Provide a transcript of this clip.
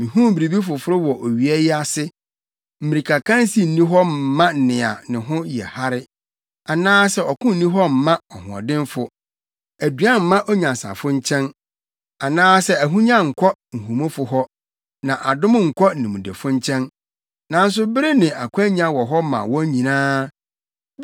Mihuu biribi foforo wɔ owia yi ase: Mmirikakansi nni hɔ mma nea ne ho yɛ hare anaasɛ ɔko nni hɔ mma ɔhoɔdenfo, aduan mma onyansafo nkyɛn anaasɛ ahonya nnkɔ nhumufo hɔ, na adom nnkɔ nimdefo nkyɛn; nanso bere ne akwannya wɔ hɔ ma wɔn nyinaa.